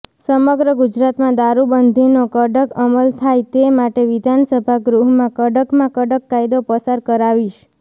સમગ્ર ગુજરાતમાં દારૂબંધીનો કડક અમલ થાય તે માટે વિધાનસભા ગૃહમાં કડકમાં કડક કાયદો પસાર કરાવીશ